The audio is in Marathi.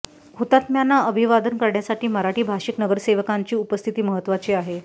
हुतात्म्यांना अभिवादन करण्यासाठी मराठी भाषिक नगरसेवकांची उपस्थिती महत्त्वाची आहे